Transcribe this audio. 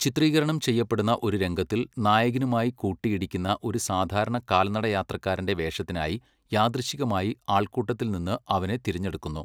ചിത്രീകരണം ചെയ്യപ്പെടുന്ന ഒരു രംഗത്തിൽ നായകനുമായി കൂട്ടിയിടിക്കുന്ന ഒരു സാധാരണ കാൽനടയാത്രക്കാരന്റെ വേഷത്തിനായി യാദൃച്ഛികമായി ആൾക്കൂട്ടത്തിൽ നിന്ന് അവനെ തിരഞ്ഞെടുക്കുന്നു.